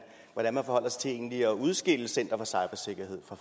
egentlig at udskille center for cybersikkerhed fra